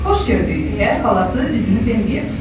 Xoş gördük deyə xalası üzünü Bembiyə tutdu.